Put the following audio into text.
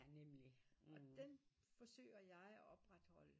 Og den forsøger jeg at opretholde